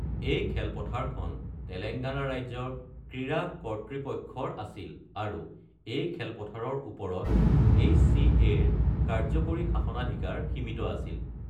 এই খেলপথাৰখন তেলেংগানা ৰাজ্যৰ ক্ৰীড়া কৰ্তৃপক্ষৰ আছিল, আৰু এই খেলপথাৰৰ ওপৰত এইচচিএৰ কাৰ্য্যকৰী শাসনাধিকাৰ সীমিত আছিল।